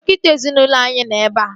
Dọkịta ezinaụlọ anyị nọ ebea